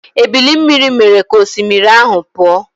Ebili mmiri mere ka osimiri ahụ pụọ.